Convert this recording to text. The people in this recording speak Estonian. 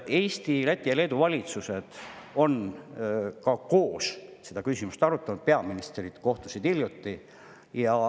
Eesti, Läti ja Leedu valitsus on ka koos seda küsimust arutanud, peaministrid hiljuti kohtusid.